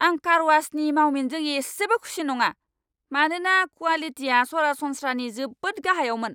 आं कारवाशनि मावमिनजों एसेबो खुसि नङा, मानोना क्वालिटिया सरासनस्रानि जोबोद गाहायावमोन।